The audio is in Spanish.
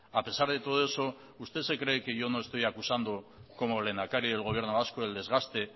a pesar de todo eso usted se cree que yo no estoy acusando como lehendakari del gobierno vasco el desgaste